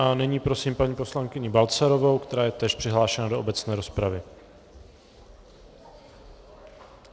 A nyní prosím paní poslankyni Balcarovou, která je též přihlášena do obecné rozpravy.